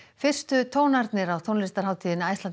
fyrstu tónarnir á tónlistarhátíðinni Iceland